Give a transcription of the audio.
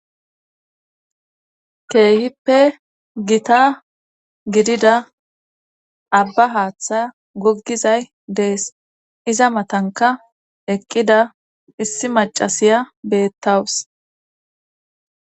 keehippe gita gidida abba haaththa goggizay dees iza matanka eqqida issi macasiya beettawus